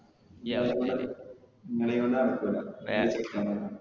ഈ അവസ്ഥേല് നമ്മളെകൊണ്ട് നടകൂല.